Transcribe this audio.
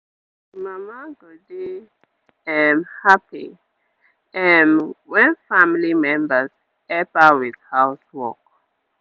d mama go dey um happy um wen family members help her with house work